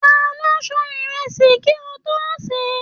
Taló sàn ìrẹsì kí o to ṣe?